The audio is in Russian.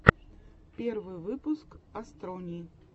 первый выпуск астрони